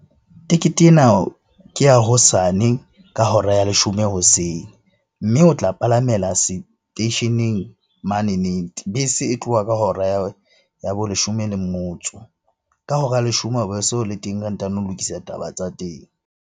Tekete ena ke ya hosane ka hora ya leshome hoseng. Mme o tla palamela seteisheneng manene. Bese e tloha ka hora ya bo leshome le motso. Ka hora ya leshome o be se o le teng re ntano ho lokisa taba tsa teng.